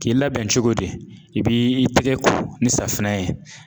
K'i labɛn cogo di, i b'i tɛgɛ ko ni safunɛ ye